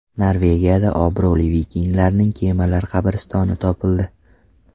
Norvegiyada obro‘li vikinglarning kemalar qabristoni topildi .